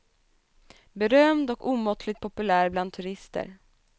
Berömd och omåttligt populär bland turister.